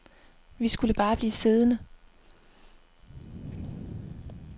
Vi skulle bare blive siddende.